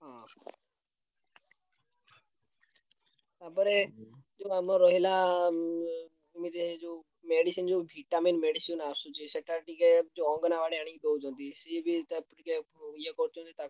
ହଁ ତାପରେ ଯୋଉ ଆମର ରହିଲା ଉଁ ଆମ ଯୋଉ ଏ ଯୋଉ medicine ଯୋଉ vitamin medicine ଆସୁଚି ସେଇଟା ଟିକେ ଯୋଉ ଅଙ୍ଗନବାଡି ଆଣିକି ଦଉଛନ୍ତି ସିଏବି ତା ପ~ ଇଏ କରୁଛନ୍ତି।